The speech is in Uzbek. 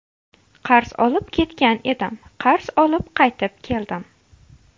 Qarz olib ketgan edim, qarz olib qaytib keldim.